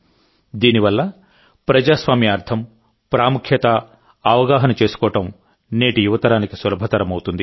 దీని వల్ల ప్రజాస్వామ్యం అర్థం ప్రాముఖ్యత అవగాహన చేసుకోవడం నేటి యువతరానికి సులభతరమవుతుంది